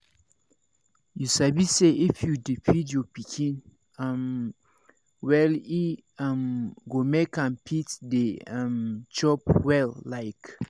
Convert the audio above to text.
you sabi say if you dey feed your pikin um well e um go make am fit dey um chop well like